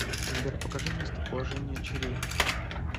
сбер покажи местоположение чри